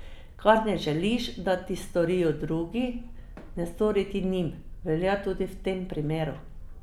Kar ne želiš, da ti storijo drugi, ne stori ti njim, velja tudi v tem primeru.